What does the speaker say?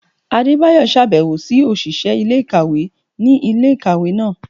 Adébáyọ ṣabẹwo si oṣiṣẹ ilé-ikáwe ni ilé-ikáwe náá